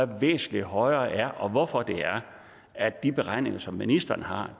væsentlig højere er og hvorfor det er at de beregninger som ministeren har